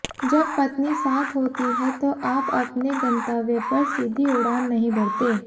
जब पत्नी साथ होती है तो आप अपने गंतव्य पर सीधी उड़ान नहीं भरते